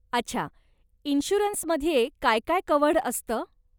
अच्छा, इन्शुरन्समध्ये काय काय कव्हर्ड असतं?